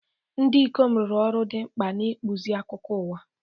Ndị ikom rụrụ ọrụ dị mkpa n'ịkpụzi akụkọ ụwa.